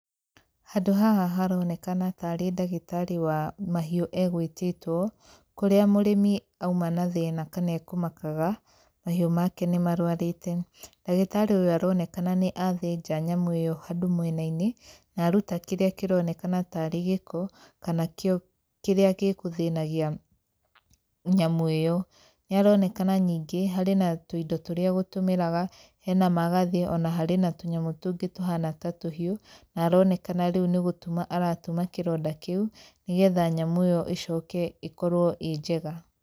Handũ haha haroneka tarĩ ndagĩtarĩ wa mahiũ egũĩtĩtwo, kũrĩa mũrĩmi auma na thina, kana ekũmakaga mahiũ make nĩ marwarĩte. Ndagĩtarĩ ũyũ nĩ oneka nĩ athĩnja nyamũ ĩyo handũ mwena-inĩ, na aruta kĩrĩa kĩronekana tarĩ gĩko kana kĩrĩa gĩgũthĩnagia nyamũ ĩyo. Nĩ aronekana nĩngĩ harĩ na tũindo tũrĩa egũtũmĩraga, hena magathĩ, ona tũnyamũ tũrĩa ekũhũthagĩra tũhana ta tũhiũ, na aronekana nĩ gũtuma aratuma kĩronda kĩu, nĩgetha nyamũ ĩyo ĩcoke ĩkorwo ĩnjega.